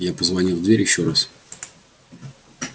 я позвонил в дверь ещё раз